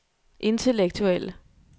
intellektuelle